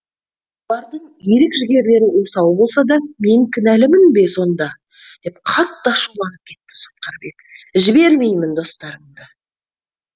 олардың ерік жігерлері осал болса да мен кінәлімін бе сонда деп қатты ашуланып кетті сотқарбек жібермеймін достарыңды